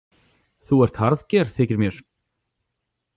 Þú ert harðger, þykir mér.